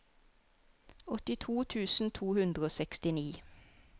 åttito tusen to hundre og sekstini